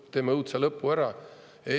"Ei, meil on mingid kosilased.